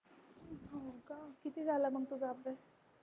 हो का किती झाला मग तुझा अभ्यास?